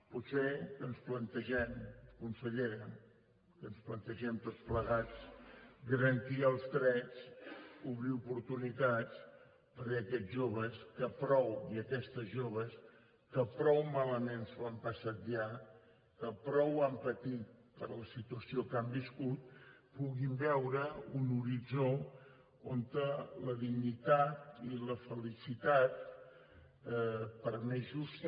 potser que ens plantegem consellera que ens plantegem tots plegats garantir els drets obrir oportunitats perquè aquests joves i aquestes joves que prou malament s’ho han passat ja que prou han patit per la situació que han viscut puguin veure un horitzó on la dignitat i la felicitat per més justa